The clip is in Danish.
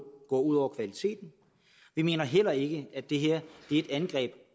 går ud over kvaliteten vi mener heller ikke at det her er et angreb